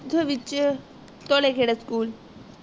which school